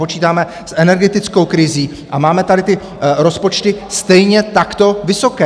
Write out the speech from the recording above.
Počítáme s energetickou krizí a máme tady ty rozpočty stejně takto vysoké.